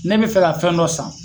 Ne bɛ fɛ ka fɛn dɔ san